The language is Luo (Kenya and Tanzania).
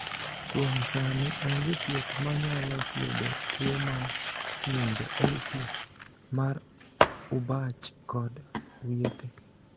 Kuom sani onge thieth ma nyalo thiedho tuwo mar ng’injo (LP) mar Urbach kod Wiethe.